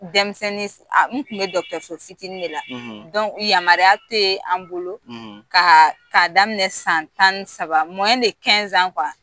Denmisɛnnin u tun bɛ dɔgɔtɔrɔso fitinin de la yamaruya tɛ an bolo k'a daminɛ san tan ni saba